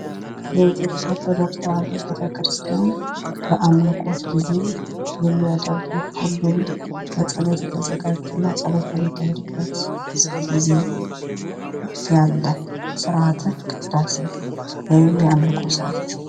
የኢትዮጵያ ኦርቶዶክስ ተዋህዶ ቤተክርስቲያን በአምልኮት ጊዜ የሚያደርጉት ጸሎት ወይም የጸሎት ጊዜ